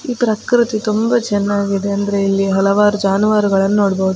ಈ ಪ್ರಕೃತಿ ತುಂಬ ಚೆನ್ನಾಗಿದೆ ಅಂದ್ರೆ ಇಲ್ಲಿ ಹಲವಾರು ಜಾನುವಾರುಗಳನ್ನು ನೋಡ್ಬಹುದು .